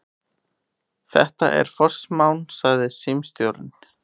Þetta er forsmán, sagði símstjórinn.